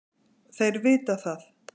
Þeir vita það.